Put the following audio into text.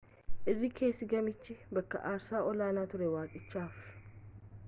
irri keessi gamichaa bakka aarsaa olaanaa ture waaqichaaf